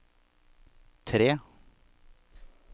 tre